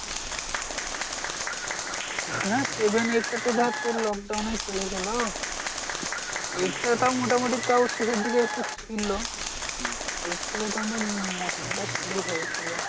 হ্যাঁ seven eight টা তো ধর তোর lockdown এই চলে গেলো। eight টা তাও মোটামুটি তাও শেষের দিকে একটু ছিল। eight থেকেই তো আমাদের ম মস্তি টা শুরু হয়েছিল।